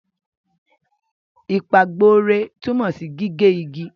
Ìpàgborẹ́ tunmo si gige igi.